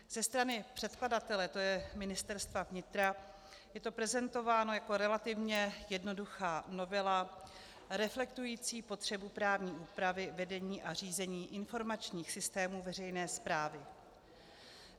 Ze strany předkladatele, to je Ministerstva vnitra, je to prezentováno jako relativně jednoduchá novela reflektující potřebu právní úpravy vedení a řízení informačních systémů veřejné správy.